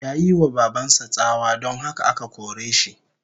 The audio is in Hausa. Yayi wa baban sa tsawa, don haka aka kore shi